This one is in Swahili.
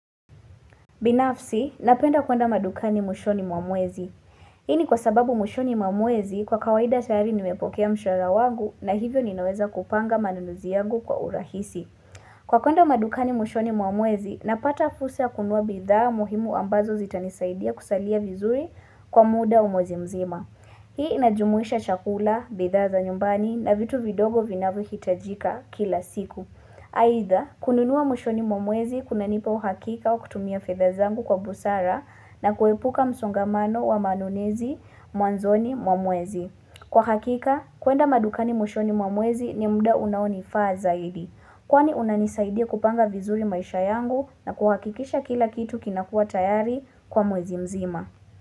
Binafsi, napenda kwenda madukani mwishoni mwamwezi. Hini kwa sababu mwishoni mwa mwezi kwa kawaida tayari nimepokea mshahara wangu na hivyo ninaweza kupanga manunuzi yagu kwa urahisi. Kwa kwenda madukani mwishoni mwa mwezi, napata fursa kunua bidhaa muhimu ambazo zitanisaidia kusalia vizui kwa muda mwezi mzima. Hii inajumuisha chakula, bidhaa za nyumbani na vitu vidogo vinavo hitajika kila siku. Aidha, kununua mwishoni mwamwezi kuna nipa uhakika wa kutumia fedha zangu kwa busara na kuepuka msongamano wa manonezi mwanzoni mwamwezi. Kwa hakika, kwenda madukani mwishoni mwamwezi ni mda unaoni faa zaidi. Kwani unanisaidia kupanga vizuri maisha yangu na kuhakikisha kila kitu kinakua tayari kwa mwezi mzima.